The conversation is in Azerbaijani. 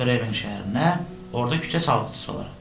Gedərəm Bremen şəhərinə, orada küçə çalğıçısı olaram.